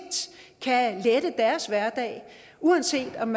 kan lette deres hverdag uanset om